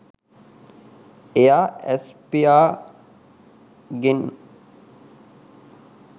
එයා ඇස් පියාගෙන්